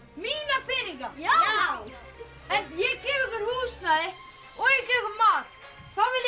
mína peninga já ég gef ykkur húsnæði og ég gef ykkur mat hvað viljið